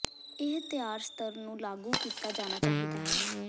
ਇਹ ਤਿਆਰ ਸਤਹ ਨੂੰ ਲਾਗੂ ਕੀਤਾ ਜਾਣਾ ਚਾਹੀਦਾ ਹੈ